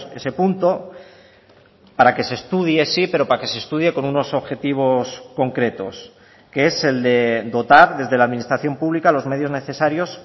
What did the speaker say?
ese punto para que se estudie sí pero para que se estudie con unos objetivos concretos que es el de dotar desde la administración pública los medios necesarios